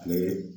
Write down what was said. Ale